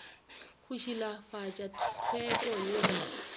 go šilafatša tlhweko ye ba